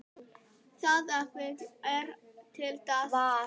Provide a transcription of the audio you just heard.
Það efli þær til dáða.